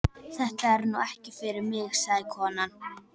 Þetta er nú ekki fyrir mig, sagði konan.